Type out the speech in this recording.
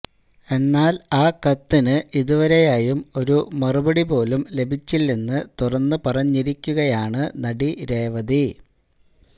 എന്നാല് ആ കത്തിന് ഇതുവരെയായും ഒരു മറുപടിപോലും ലഭിച്ചില്ലെന്ന് തുറന്നുപറഞ്ഞിരിക്കുകയാണ് നടി രേവതി